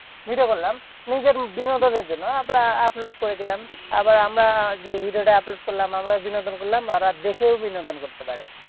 Video করলাম। নিজের বিনোদনের জন্য। আমরা upload করে দিলাম। আবার আমরা যে video টা upload করলাম। আমরা বিনোদন করলাম আবার দেখেও বিনোদন করতে পারে।